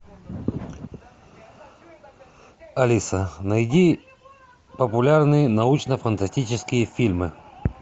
алиса найди популярные научно фантастические фильмы